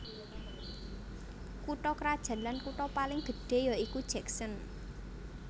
Kutha krajan lan kutha paling gedhé ya iku Jackson